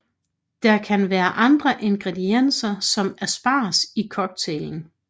Der kan være andre ingredienser som asparges i cocktailen